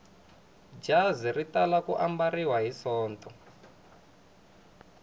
jazi ri tala ku ambariwa hi sonto